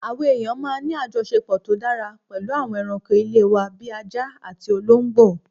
Àwa èèyàn máa ń ní àjọṣepọ̀ tó dára pẹ̀lú àwọn ẹranko ilé wa bí ajá àti olóńgbò